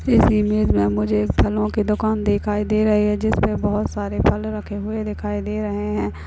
इस इमेज में मुझे एक फलों की दुकान दिखाई दे रही है जिसमें बहोत सारे फल रखे हुए दिखाई दे रहे हैं।